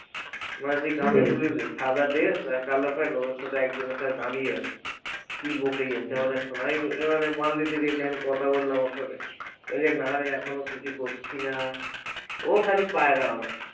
সাদা dress আর কালো প্যান্ট ওদের সাথে একজনের সাথে দাঁড়িয়ে আছে কি বকেই যাচ্ছে এবারে মাল দিতে গেছি আমি কথা বললাম ওর সাথে বলছে নারে এখনো কিছু করছি না ও খালি পায়রা ওর